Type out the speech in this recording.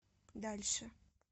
дальше